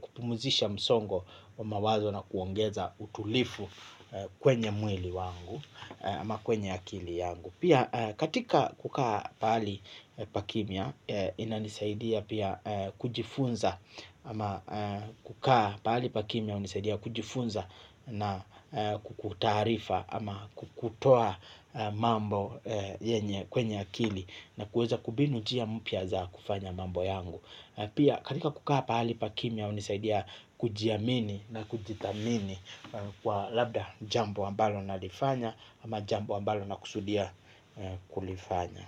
kupumzisha msongo wa mawazo na kuongeza utulivu kwenye mwili wangu ama kwenye akili yangu. Pia katika kukaa pahali pa kimya ina nisaidia pia kujifunza ama kukaa pahali pa kimya hunisaidia kujifunza na kukutarifa ama kukutoa mambo yenye kwenye akili na kuweza kumbinu njia mpya za kufanya mambo yangu. Pia katika kukaa pahali pa kimya hunisaidia kujiamini na kujithamini kwa labda jambo ambalo nalifanya ama jambo ambalo na kusudia kulifanya.